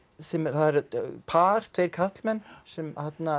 það er par tveir karlmenn sem